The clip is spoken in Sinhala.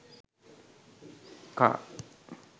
car